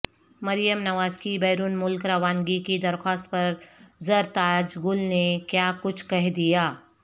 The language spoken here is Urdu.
مریم نوازکی بیرون ملک روانگی کی درخواست پر زرتاج گل نے کیا کچھ کہہ دیا